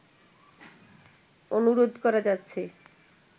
অনুরোধ করা যাচ্ছে